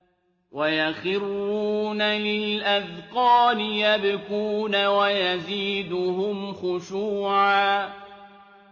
وَيَخِرُّونَ لِلْأَذْقَانِ يَبْكُونَ وَيَزِيدُهُمْ خُشُوعًا ۩